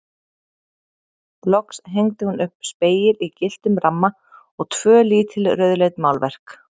Loks hengdi hún upp spegil í gylltum ramma og tvö lítil rauðleit málverk.